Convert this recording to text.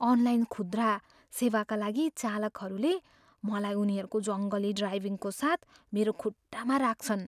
Online खुद्रा सेवाका लागि चालकहरूले मलाई उनीहरूको जङ्गली ड्राइभिङ्गको साथ मेरो खुट्टामा राख्छन्।